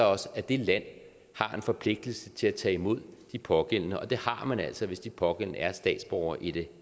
os at det land har en forpligtelse til at tage imod de pågældende og det har man altså hvis de pågældende er statsborgere i det